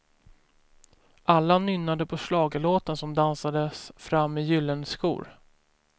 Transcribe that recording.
Alla nynnade på schlagerlåten som dansades fram i gyllene skor.